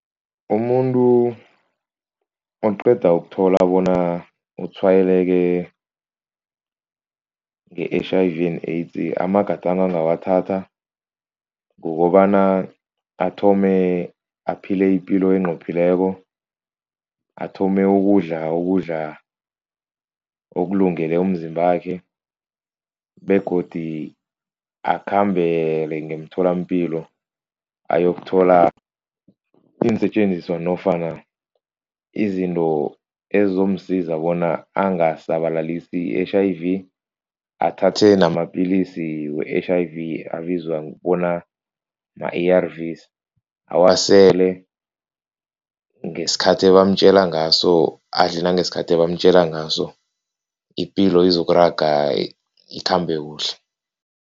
Umuntu oqeda ukuthola bona utshwayeleke nge-H_I_V and AIDS amagadango angawathatha kukobana athome aphile ipilo enqophileko, athome ukudla ukudla okulungele umzimbakhe begodi akhambele ngemtholampilo ayokuthola iinsetjenziswa nofana izinto ezizomsiza bona angasabalalise i-H_I_V, athathe namapillisi we-H_I_V abizwa bona ma-A_R_Vs, awasele ngesikhathi abamtjela ngaso, adle nangesikhathi bamtjela ngaso, ipilo izokuraga ikhambe kuhle.